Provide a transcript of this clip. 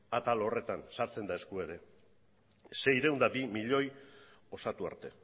atal horretan sartzen da eskua ere seiehun eta bi milioi osatu arte